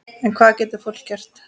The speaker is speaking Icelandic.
En hvað getur fólk gert?